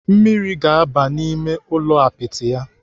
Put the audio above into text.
Mmiri ga-abata n'ime ụlọ ụlọ apịtị ya.